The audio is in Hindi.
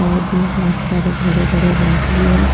साइड में बहोत सारे बड़े बड़े घास भी हैं।